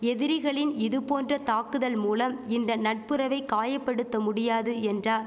எதிரிகளின் இது போன்ற தாக்குதல் மூலம் இந்த நட்புறவை காயபடுத்த முடியாது என்றார்